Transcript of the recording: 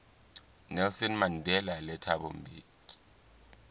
nelson mandela le thabo mbeki